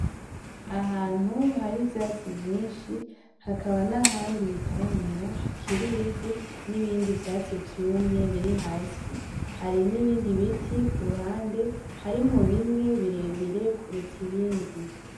Ahantu hari ivyantsi vyinshi hakaba n’ahandi bitaramera hakirimvu n’ibindi vyatsi vyume biri hasi hari ,n'ibindi biti kuruhande harimwo bimwe kuruya ibindi.